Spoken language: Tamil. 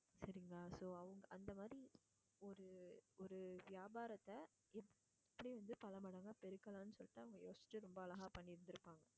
சரிங்களா so அவங்க~ அந்த மாதிரி ஒரு ஒரு வியாபாரத்தை எப்படி வந்து பலமடங்கா பெருக்கலான்னு சொல்லிட்டு அவங்க யோசிச்சு ரொம்ப அழகா பண்ணி இருந்திருப்பாங்க